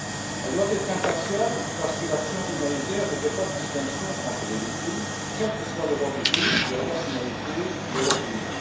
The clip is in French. Elle doit être impartiale parce que l'action humanitaire ne fait pas de distinction entre les victimes, quelle que soit leur origine, leur nationalité ou leur opinion.